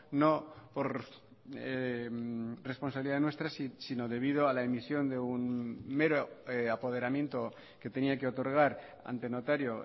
no por responsabilidad nuestra sino debido a la emisión de un mero apoderamiento que tenía que otorgar ante notario